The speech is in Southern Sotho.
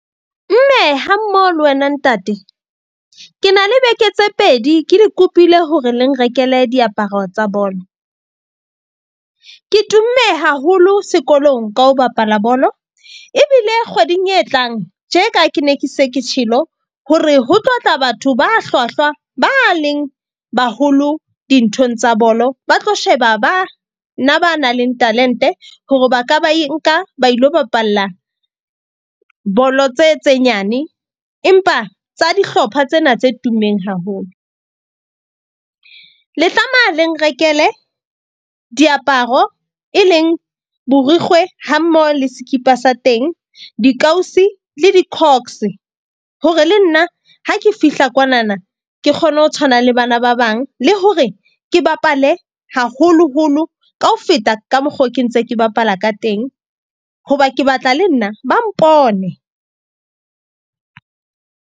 Mme ha mmoho le wena ntate. Ke na le beke tse pedi ke le kopile hore le nrekele diaparo tsa bolo. Ke tumme haholo sekolong ka ho bapala bolo. Ebile kgweding e tlang tje ka ke ne ke se ke tjhelo. Hore ho tlo tla batho ba hlwahlwa ba leng baholo dinthong tsa bolo. Ba tlo sheba ba na ba nang le talent-e hore ba ka ba e nka ba ilo bapalla bolo tse tse nyane. Empa tsa dihlopha tsena tse tummeng haholo. Le tlameha le nrekele diaparo e leng borikgwe ha mmoho le sekipa sa teng, dikausi le di hore le nna ha ke fihla kwanana ke kgone ho tshwana le bana ba bang. Le hore ke bapale haholoholo ka ho feta ka mokgo ke ntse ke bapala ka teng. Hoba ke batla le nna ba mpone.